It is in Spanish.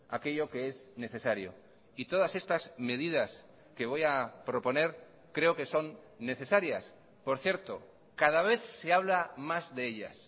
aquello que es necesario y todas estas medidas que voy a proponer creo que son necesarias por cierto cada vez se habla más de ellas